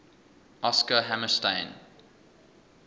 oscar hammerstein